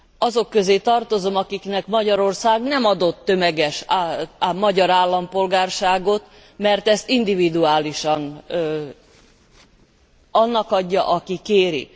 Azok közé tartozom, akiknek Magyarország nem adott tömeges magyar állampolgárságot, mert ezt individuálisan annak adja, aki kéri.